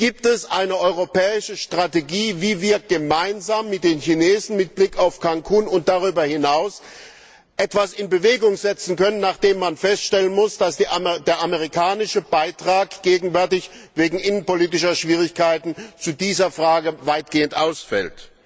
Gibt es eine europäische Strategie, wie wir gemeinsam mit den Chinesen mit Blick auf Cancún und darüber hinaus etwas in Bewegung setzen können, nachdem man feststellen muss, dass der amerikanische Beitrag zu dieser Frage gegenwärtig wegen innenpolitischer Schwierigkeiten weitgehend ausfällt?